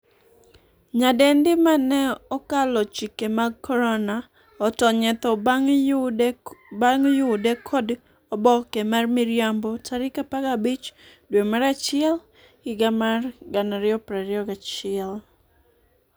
nyadendi mane 'okalo chike mag korona' otony e tho bang' yude kod oboke mar miriambo tarik 15 dwe mar achiel higa mar 2021